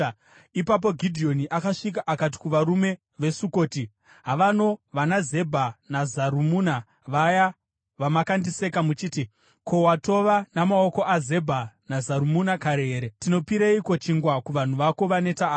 Ipapo Gidheoni akasvika akati kuvarume veSukoti, “Havano vanaZebha naZarumuna, vaya vamakandiseka muchiti, ‘Ko, watova namaoko aZebha naZarumuna kare here? Tinopireiko chingwa kuvanhu vako vaneta ava?’ ”